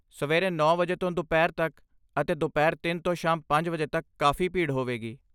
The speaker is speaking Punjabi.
ਸਵੇਰੇ ਨੌ ਵਜੇ ਤੋਂ ਦੁਪਹਿਰ ਤੱਕ ਅਤੇ ਦੁਪਹਿਰ ਤਿੰਨ ਤੋਂ ਸ਼ਾਮ ਪੰਜ ਵਜੇ ਤੱਕ ਕਾਫੀ ਭੀੜ ਹੋਵੇਗੀ